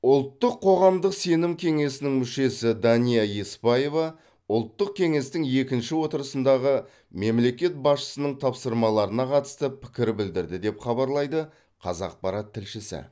ұлттық қоғамдық сенім кеңесінің мүшесі дания еспаева ұлттық кеңестің екінші отырысындағы мемлекет басшысының тапсырмаларына қатысты пікір білдірді деп хабарлайды қазақпарат тілшісі